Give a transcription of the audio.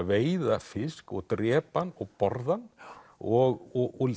veiða fisk og drepa hann og borða hann og